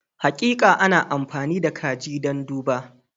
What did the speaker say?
Hakika, ana amfani da kaji don duba.